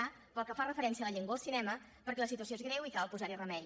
a pel que fa referència a la llengua al cinema perquè la situació és greu i cal posar hi remei